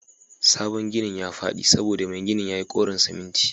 sabon ginin yafadi saboda Mai ginin yayi kouron siminti